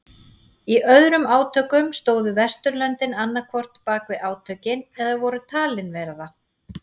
Í öðrum átökum stóðu Vesturlöndin annað hvort bakvið átökin eða voru talin vera það.